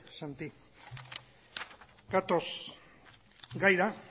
santi gatoz gaira